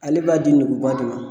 Ale b'a di nguuba de ma